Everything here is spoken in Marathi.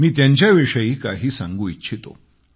मी त्यांच्या विषयी काही सांगू इच्छितो